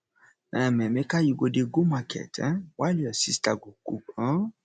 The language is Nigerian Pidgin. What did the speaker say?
um emeka you go dey go market um while your sister go cook um